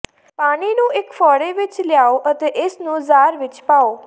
ਪਾਣੀ ਨੂੰ ਇਕ ਫ਼ੋੜੇ ਵਿਚ ਲਿਆਓ ਅਤੇ ਇਸ ਨੂੰ ਜਾਰ ਵਿਚ ਪਾਓ